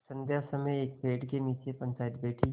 संध्या समय एक पेड़ के नीचे पंचायत बैठी